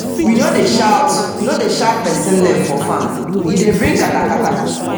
we no dey shout no dey shout person name for farm - e dey bring katakata